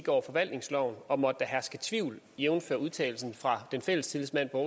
over forvaltningsloven og måtte der herske tvivl jævnfør udtalelsen fra fællestillidsmanden på